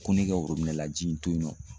Ko ne ka worobinɛ la ji in to yen nɔ.